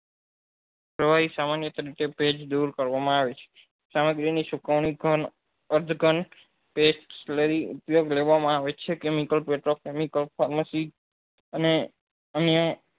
કેવાય સામાન્ય ભેજ દુર કરવા માં આવે છે ઉપયોગ લેવા માં આવે છે કે નહી અને અહે